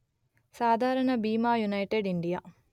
సాధారణ బీమాయునైటెడ్ ఇండియా